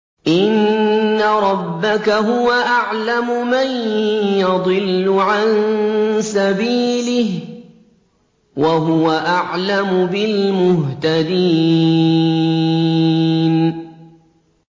إِنَّ رَبَّكَ هُوَ أَعْلَمُ مَن يَضِلُّ عَن سَبِيلِهِ ۖ وَهُوَ أَعْلَمُ بِالْمُهْتَدِينَ